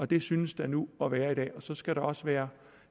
det synes der nu at være i dag og så skal der også være